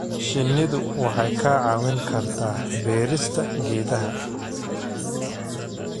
Shinnidu waxay kaa caawin kartaa beerista geedaha.